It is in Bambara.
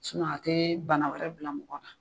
a tɛ bana wɛrɛ bila mɔgɔ la